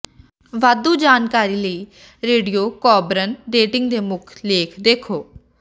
ਵਾਧੂ ਜਾਣਕਾਰੀ ਲਈ ਰੇਡੀਓਕੋਬਰਨ ਡੇਟਿੰਗ ਦੇ ਮੁੱਖ ਲੇਖ ਦੇਖੋ